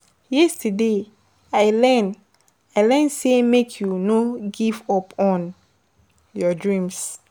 Yesterday, I learn I learn sey make you no give up on your dreams.